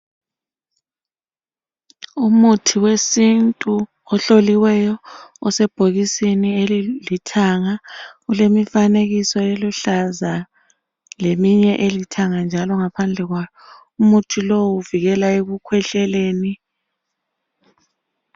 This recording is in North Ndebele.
Umuthi wesintu ohloliweyo osebhokisini elilithanga kulemifanekiso eluhlaza leminye elithanga njalo ngaphandle kwalo. Umuthi lowu uvikela ekukhwehleleni.